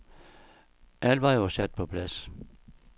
Alt var jo sat på plads.